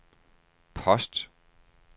post